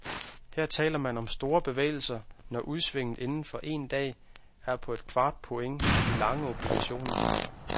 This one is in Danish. Her taler man om store bevægelser, når udsvinget inden for en dag er på et kvart point i de lange obligationer.